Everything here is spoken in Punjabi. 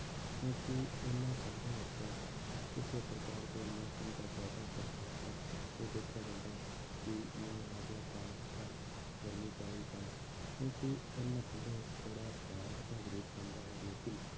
ਕਿਉਂਕਿ ਇਹਨਾਂ ਧੰਦਿਆਂ ਉੱਪਰ ਕਿਸੇ ਪ੍ਰਕਾਰ ਦੇ ਮੌਸਮ ਦਾ ਜ਼ਿਆਦਾ ਪ੍ਰਭਾਵ ਤਾਂ ਇਹ ਦੇਖਿਆ ਜਾਂਦਾ ਕਿ ਮੀਂਹ ਆ ਗਿਆ ਤਾਂ ਜਾਂ ਗਰਮੀ ਪੈ ਰਹੀ ਤਾਂ ਕਿਉਂਕਿ ਇਹਨਾਂ ਧੰਦਿਆਂ ਵਿੱਚ ਥੋੜ੍ਹਾ ਧਿਆਨ ਰੱਖਣਾ ਜ਼ਰੂਰ ਪੈਂਦਾ ਹੈ ਲੇਕਿੰਨ